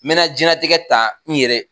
Me na diɲɛlatigɛ ta n yɛrɛ